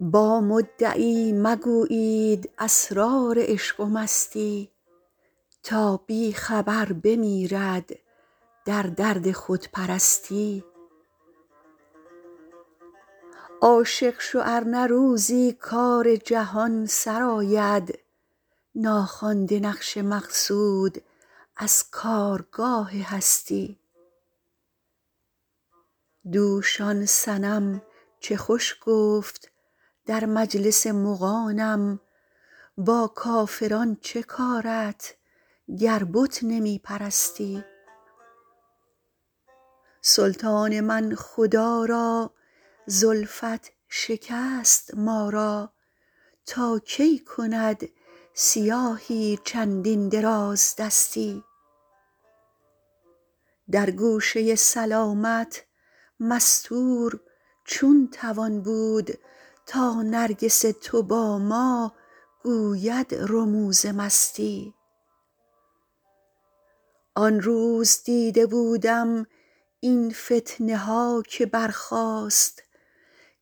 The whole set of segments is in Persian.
با مدعی مگویید اسرار عشق و مستی تا بی خبر بمیرد در درد خودپرستی عاشق شو ار نه روزی کار جهان سرآید ناخوانده نقش مقصود از کارگاه هستی دوش آن صنم چه خوش گفت در مجلس مغانم با کافران چه کارت گر بت نمی پرستی سلطان من خدا را زلفت شکست ما را تا کی کند سیاهی چندین درازدستی در گوشه سلامت مستور چون توان بود تا نرگس تو با ما گوید رموز مستی آن روز دیده بودم این فتنه ها که برخاست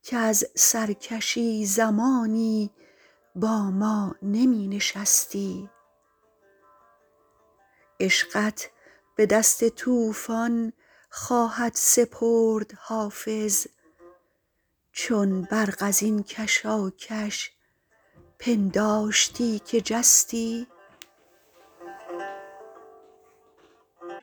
کز سرکشی زمانی با ما نمی نشستی عشقت به دست طوفان خواهد سپرد حافظ چون برق از این کشاکش پنداشتی که جستی